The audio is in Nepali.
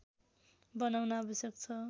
बनाउन आवश्यक छ